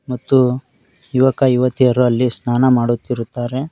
ಮತ್ತು ಯುವಕ ಯುವತಿಯರು ಅಲ್ಲಿ ಸ್ನಾನ ಮಾಡುತ್ತಿರುತ್ತಾರೆ.